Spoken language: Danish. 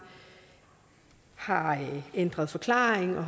har ændret forklaring og